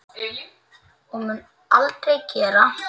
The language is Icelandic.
Og mun aldrei gera.